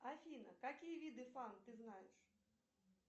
афина какие виды фан ты знаешь